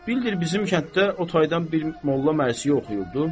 Bildir bizim kənddə o taydan bir molla mərsiyə oxuyurdu.